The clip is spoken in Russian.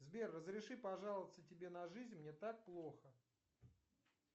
сбер разреши пожаловаться тебе на жизнь мне так плохо